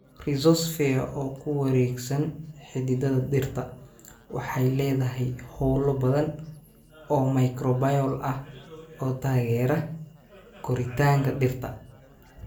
Rhizosphere, oo ku wareegsan xididdada dhirta, waxay leedahay hawlo badan oo microbial ah oo taageera koritaanka dhirta.